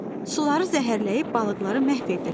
Suları zəhərləyib balıqları məhv edirlər.